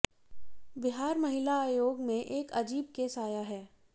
बिहार महिला आयोग में एक अजीब केस आया है